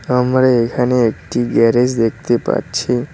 আমরা এখানে একটি গ্যারেজ দেখতে পাচ্ছি।